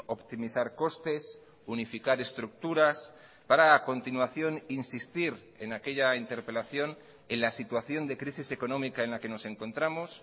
optimizar costes unificar estructuras para a continuación insistir en aquella interpelación en la situación de crisis económica en la que nos encontramos